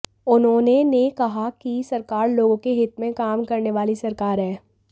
उन्होंने ने कहा कि सरकार लोगों के हित में काम करने वाली सरकार है